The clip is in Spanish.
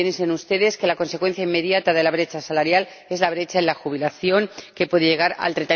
Piensen ustedes que la consecuencia inmediata de la brecha salarial es la brecha en la jubilación, que puede llegar al